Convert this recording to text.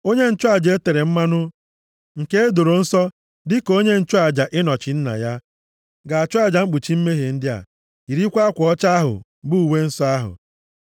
Onye nchụaja e tere mmanụ, nke e doro nsọ dịka onye nchụaja ịnọchi nna ya, ga-achụ aja mkpuchi mmehie ndị a, yirikwa akwa ọcha ahụ, bụ uwe nsọ ahụ.